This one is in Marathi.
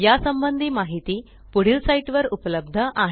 या संबंधी माहिती पुढील साईटवर उपलब्ध आहे